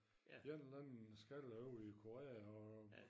En eller anden